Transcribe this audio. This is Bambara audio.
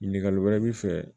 Ɲininkali wɛrɛ b'i fɛ